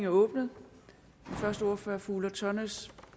åbnet den første ordfører er fru ulla tørnæs